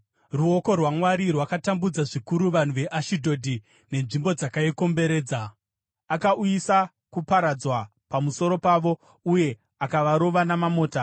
Ruoko rwaMwari rwakatambudza zvikuru vanhu veAshidhodhi nenzvimbo dzakaikomberedza; akauyisa kuparadzwa pamusoro pavo uye akavarova namamota.